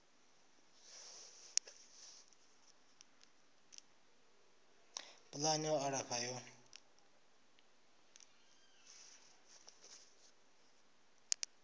pulani ya u alafha yo